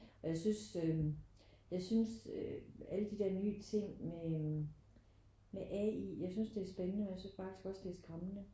Men jeg synes øh jeg synes øh alle de der nye ting med øh med AI. Jeg synes det er spændende men jeg synes faktisk også det er skræmmende